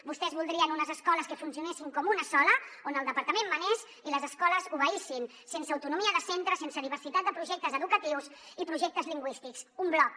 vostès voldrien unes escoles que funcionessin com una sola on el departament manés i les escoles obeïssin sense autonomia de centre sense diversitat de projectes educatius i projectes lingüístics un bloc